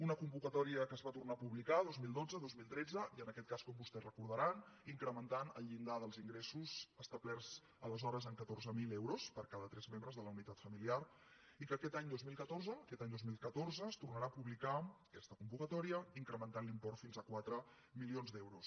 una convocatòria que es va tor·nar a publicar dos mil dotze dos mil tretze i en aquest cas com vostès deuen recordar incrementant el llindar dels ingres·sos establerts aleshores en catorze mil euros per cada tres membres de la unitat familiar i que aquest any dos mil catorze es tornarà a publicar aquesta convocatòria incrementant l’import fins a quatre milions d’euros